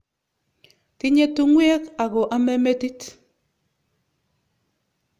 Tinye tung'wek ako ame metit.